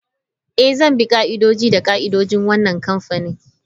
Eh, zan bi ka'idoji da ka'idojin wannan kamfani.